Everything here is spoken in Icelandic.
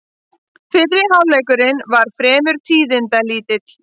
Fyrri hálfleikurinn var fremur tíðindalítill